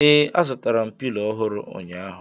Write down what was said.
Ee, azụrụ m Pilo ọhụrụ ụnyaahụ